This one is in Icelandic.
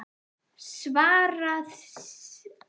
Svaraði síðan, og var glampi í augunum: